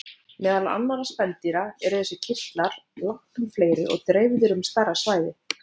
Meðal annarra spendýra eru þessir kirtlar langtum fleiri og dreifðir um stærra svæði.